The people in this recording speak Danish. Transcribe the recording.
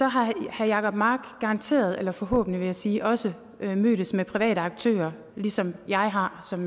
har herre jacob mark garanteret eller forhåbentlig vil jeg sige også mødtes med private aktører ligesom jeg har som